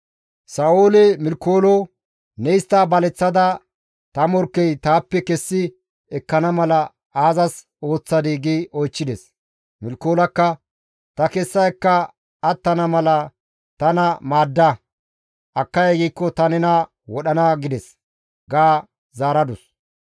Sa7ooli Milikoolo, «Ne histta baleththada ta morkkey taappe kessi ekkana mala aazas ooththadii?» gi oychchides. Milkoolakka, « ‹Ta kessa ekka attana mala tana maadda; akkay giikko ta nena wodhana› gides» ga zaaradus.